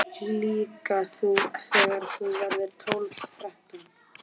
En auðvitað þurftum við að fá okkar umsömdu leigu.